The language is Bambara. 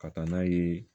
Ka taa n'a ye